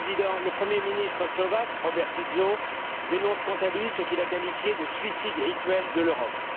Le premier ministre slovaque, Robert Fico, dénonce quant à lui ce qu'il a qualifié de suicide rituel de l'Europe.